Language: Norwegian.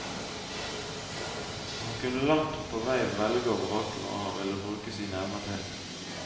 Han kunne langt på vei velge og vrake hva han ville bruke sine evner til.